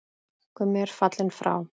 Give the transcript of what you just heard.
Gummi er fallinn frá.